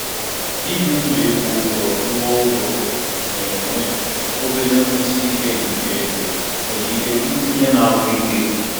Ibi n'okpuru mpaghara nkasi obi ego gị na-ebutekarị mmetụta nke nkụda mmụọ.